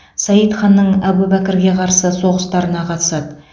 саид ханның әбубәкірге қарсы соғыстарына қатысады